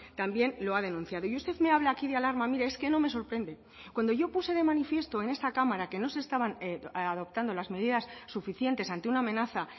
también lo ha denunciado y usted me habla aquí de alarma mire es que no me sorprende cuando yo puse de manifiesto en esta cámara que no se estaban adoptando las medidas suficientes ante una amenaza